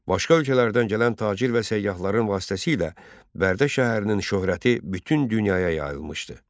Başqa ölkələrdən gələn tacir və səyyahların vasitəsilə Bərdə şəhərinin şöhrəti bütün dünyaya yayılmışdı.